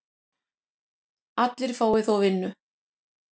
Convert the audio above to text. Allir fái þó vinnu.